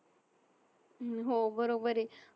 हो बरोबर आहे